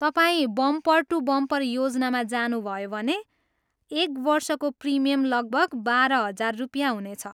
तपाईँ bumper to bumper योजनामा जानुभयो भने भने एक वर्षको प्रिमियम लगभग बाह्र हजार रुपियाँ हुनेछ।